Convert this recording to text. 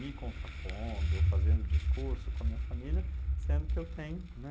Me contrapondo, fazendo discurso com a minha família, sendo que eu tenho, né?